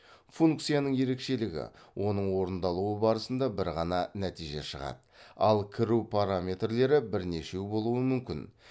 функцияның ерекшелігі оның орындалуы барысында бір ғана нәтиже шығады ал кіру параметрлері бірнешеу болуы мүмкін